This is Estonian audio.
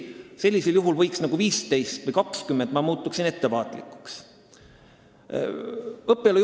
Ma ütlen veel kord, et see ei ole statistika, vaid need on kaks arvu.